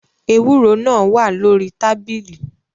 Ewúro náà wá lórí tábìlì.